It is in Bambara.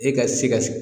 E ka si ka